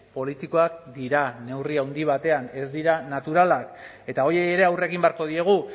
politikoak dira neurri handi batean ez dira naturalak eta horiei ere aurre egin beharko diegu